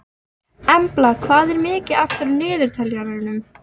Embla, hvað er mikið eftir af niðurteljaranum?